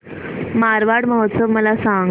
मारवाड महोत्सव मला सांग